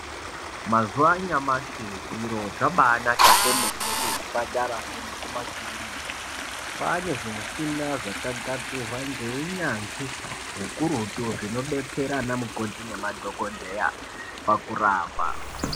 Mazuwaanyamashi zviro zvabaanaka kwemene kuzvipatarayo nekumakirinika kwaane zvimishina zvakagadzirwa ngeunyanzvi ukurutu zvinodetsera ana mukoti nemadhokodheya pakurapa.